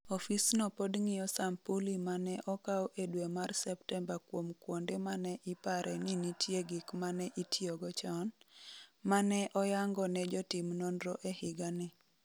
Ofisno pod ng’iyo sampuli ma ne okaw e dwe mar Septemba kuom kuonde ma ne ipare ni nitie gik ma ne itiyogo chon, ma ne oyango ne jotim nonro e higa ni.